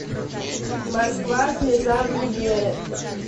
москва слезам не верит